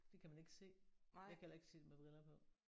Det kan man ikke se. Jeg kan heller ikke se det med briller på